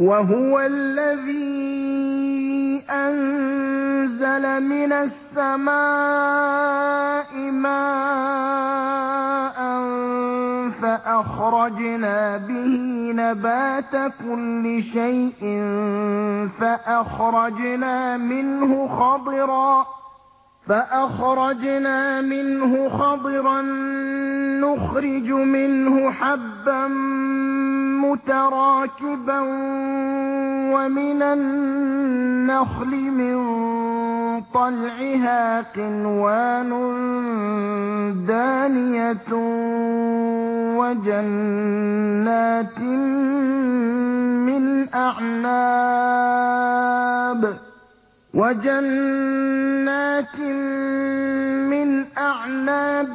وَهُوَ الَّذِي أَنزَلَ مِنَ السَّمَاءِ مَاءً فَأَخْرَجْنَا بِهِ نَبَاتَ كُلِّ شَيْءٍ فَأَخْرَجْنَا مِنْهُ خَضِرًا نُّخْرِجُ مِنْهُ حَبًّا مُّتَرَاكِبًا وَمِنَ النَّخْلِ مِن طَلْعِهَا قِنْوَانٌ دَانِيَةٌ وَجَنَّاتٍ مِّنْ أَعْنَابٍ